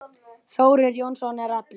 Þórir Jónsson er allur.